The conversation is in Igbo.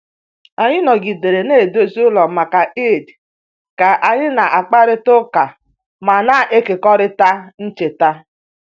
Anyị nọgidere na-edozi ụlọ maka Eid ka anyị na-akparịta ụka ma na-ekekọrịta ncheta